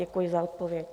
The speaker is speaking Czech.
Děkuji za odpověď.